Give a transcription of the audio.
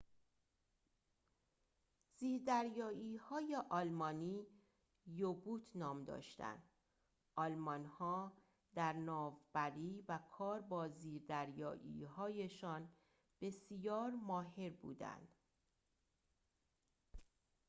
زیردریایی‌های آلمانی یو-بوت نام داشتند آلمان‌ها در ناوبری و کار با زیردریایی‌هایشان بسیار ماهر بودند